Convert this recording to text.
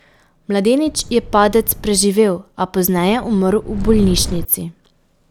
Mladenič je padec preživel, a pozneje umrl v bolnišnici.